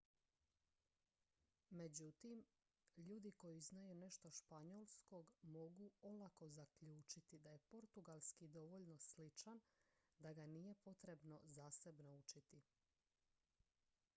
međutim ljudi koji znaju nešto španjolskog mogu olako zaključiti da je portugalski dovoljno sličan da ga nije potrebno zasebno učiti